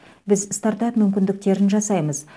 біз стартап мүмкіндіктерін жасаймыз